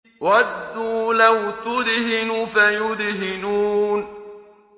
وَدُّوا لَوْ تُدْهِنُ فَيُدْهِنُونَ